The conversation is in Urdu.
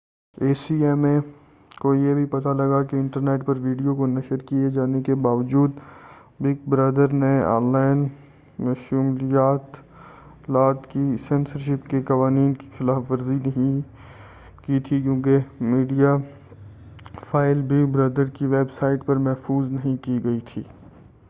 اے سی ایم اے کو یہ بھی پتہ لگا کہ انٹرنیٹ پر ویڈیو کو نشر کیے جانے کے باوجود بگ برادر نے آن لائن مشمولات کی سنسرشپ کے قوانین کی خلاف ورزی نہیں کی تھی کیونکہ میڈیا فائل بگ برادر کی ویب سائٹ پر محفوظ نہیں کی گئی تھی